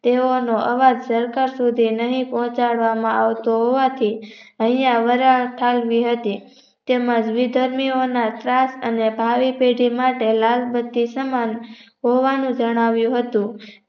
તે ઓનો અવાજ ડ્રગ સુધી નહિ પહોંચાડવામાં આવતો હોવાથી આયા વરથા આવી હતી તેમાં વિધર્મી ઓન ત્રાસ અને ભાવિ પેઢી માટે લાલ બત્તી સમાન સમાન હોવાનું જણાવ્યું હતું